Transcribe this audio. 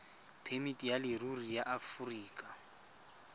phemiti ya leruri ya aforika